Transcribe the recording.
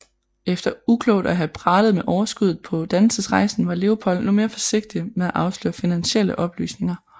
Efter uklogt at have pralet med overskuddet på dannelsesrejsen var Leopold nu mere forsigtig med at afsløre finansielle oplysninger